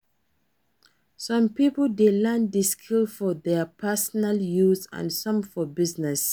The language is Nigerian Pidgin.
Some pipo de learn di skill for their personal use and some for business